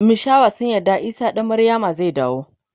mishawa sun yarda isah dan maryama zai dawo